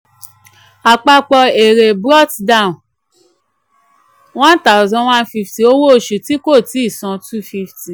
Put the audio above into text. àpapọ̀ èrè brought down one thousand one fifty owó oṣù tí kò tí san two fifty.